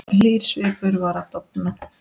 Hlýr svipur var að dofna.